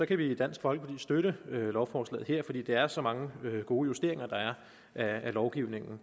kan vi i dansk folkeparti støtte lovforslaget her fordi det er så mange gode justeringer der er af lovgivningen